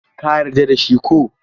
Ka yarda da shi ko?